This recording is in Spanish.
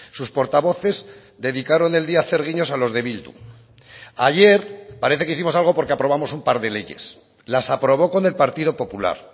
sus portavoces dedicaron el día a hacer guiños a los de bildu ayer parece que hicimos algo porque aprobamos un par de leyes las aprobó con el partido popular